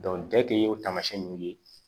deke o tamasiyɛn nunnu ye